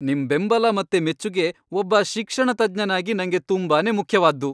ನಿಮ್ ಬೆಂಬಲ ಮತ್ತೆ ಮೆಚ್ಚುಗೆ ಒಬ್ಬ ಶಿಕ್ಷಣತಜ್ಞನಾಗಿ ನಂಗೆ ತುಂಬಾನೇ ಮುಖ್ಯವಾದ್ದು.